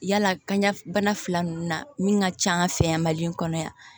Yala kɔɲɔ bana fila ninnu na min ka ca an fɛ yan mali in kɔnɔ yan